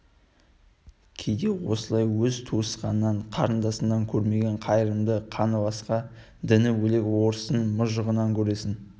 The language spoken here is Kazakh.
кейде осылай өз туысқаныңнан қарындасыңнан көрмеген қайырымды қаны басқа діні бөлек орыстың мұжығынан көресің